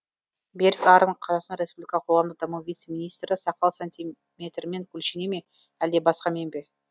берік арын қазақстан республика қоғамдық даму вице министрі сақал сантимермен өлшене ме әлде басқамен бе